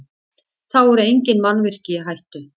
Þá eru engin mannvirki í hættu